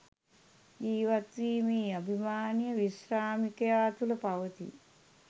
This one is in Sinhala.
ජීවත්වීමේ අභිමානය විශ්‍රාමිකයා තුළ පවතී.